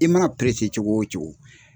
I mana cogo o cogo